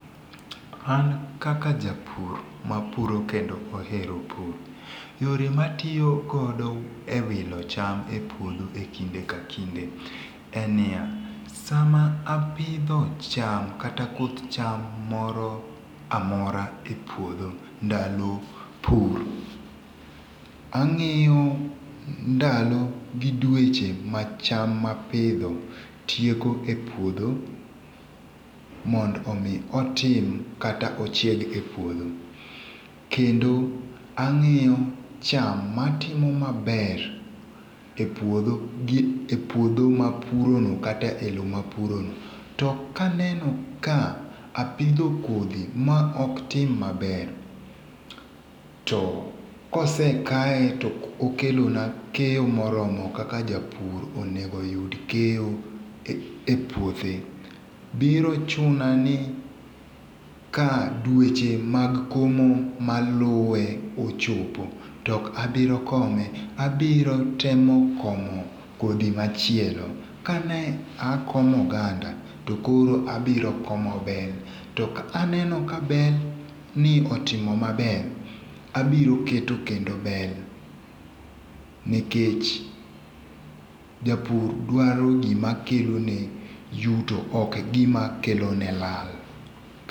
An kaka japur, mapuro kendo ohero pur, yore ma atiyo godo e wilo cham e puodho e kinde ka kinde, en niya, sama apidho cham kata koth cham moro a mora e pudho, ndalo pur, angíyo ndalo gi dueche ma cham ma apidho tieko e puodho, mond omi otim kata ochieg e puodho. Kendo angíyo cham matimo maber e puodho gi, e puodho ma apurono, kata e lowo ma apurono. To ka aneno ka apidho kodhi ma oktim maber, to kosekaye to okokelona keyo moromo kaka japur onego oyud keyo e puothe, biro chuna ni ka dueche mag komo maluwe ochopo, tokabiro kome, abirotemo komo kodhi machielo. Ka ne akomo oganda, to koro abiro komo bel. To ka aneno ka bel ni itimo maber, abiro keto kendo bel. Nikech japur dwaro gimakelo ne yuto ok gimakelone lal.